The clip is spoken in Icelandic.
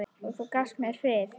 Og þú gafst mér frið.